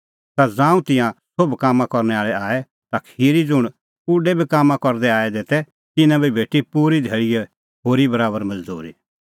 ता ज़ांऊं तिंयां सोभ कामां आल़ै आऐ ता खिरी ज़ुंण उडै बी कामां करदै आऐ तै तिन्नां बी भेटी पूरी धैल़ीए होरी बराबर मज़दूरी